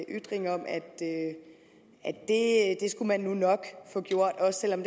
ytring om at det skulle man nok få gjort også selv om